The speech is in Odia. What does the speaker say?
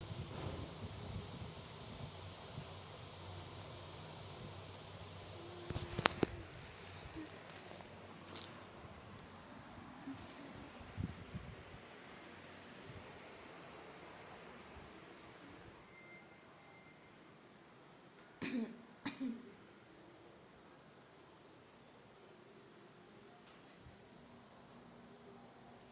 କିଛି ଲୋକ ବିଶ୍ୱାସ କରନ୍ତି ଯେ ଅନେକ କୃତ୍ରିମ ଭାବରେ ପ୍ରବର୍ତ୍ତିତ ଚମକଦାର ସ୍ୱପ୍ନକୁ ଅନୁଭବ କରିବା ପ୍ରାୟତଃ ଯଥେଷ୍ଟ କ୍ଲାନ୍ତକାରୀ ହୋଇପାରେ